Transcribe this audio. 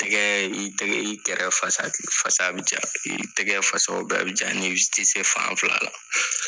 Tɛgɛ, i tɛgɛ , i kɛrɛ fasa bi ja, i tɛgɛ fasaw bɛɛ bi ja ni i ti se fan fila la.